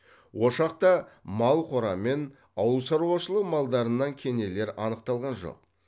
ошақта мал қора мен ауылшаруашылық малдарынан кенелер анықталған жоқ